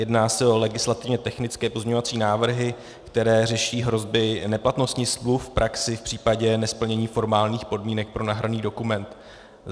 Jedná se o legislativně technické pozměňovací návrhy, které řeší hrozby neplatnosti smluv v praxi v případě nesplnění formálních podmínek pro nahraný dokument.